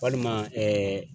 Walima ɛɛ